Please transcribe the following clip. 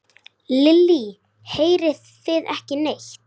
Lillý: Heyrið þið ekki neitt?